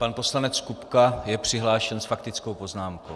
Pan poslanec Kupka je přihlášen s faktickou poznámkou.